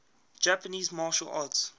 japanese martial arts